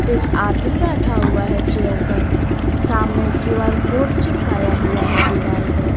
एक आदमी बैठा हुआ है चेयर पर सामने क्यू आर कोड चिपकाया हुआ है दीवाल पर।